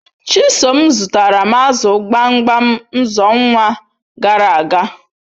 Chisom zutara m azu gbamgbam nxonwa garaaga